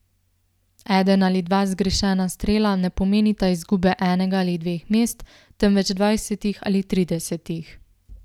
Eden ali dva zgrešena strela ne pomenita izgube enega ali dveh mest, temveč dvajsetih ali tridesetih.